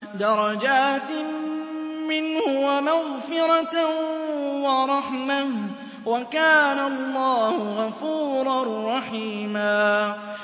دَرَجَاتٍ مِّنْهُ وَمَغْفِرَةً وَرَحْمَةً ۚ وَكَانَ اللَّهُ غَفُورًا رَّحِيمًا